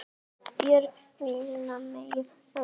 Björg mælti milli berja